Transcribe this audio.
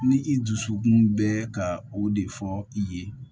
Ni i dusukun bɛ ka o de fɔ i ye